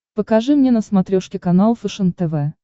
покажи мне на смотрешке канал фэшен тв